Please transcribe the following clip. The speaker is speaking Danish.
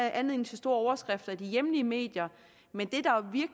anledning til store overskrifter i de hjemlige medier men